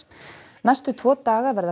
næstu tvo daga verða